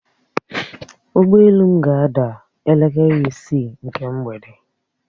Ụgbọelu m ga-ada elekere isi nke mgbede